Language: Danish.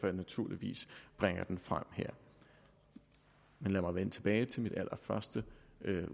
jeg naturligvis bringer den frem her men lad mig vende tilbage til mit allerførste